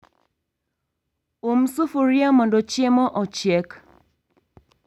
Um sufria mondo chiemo ochiek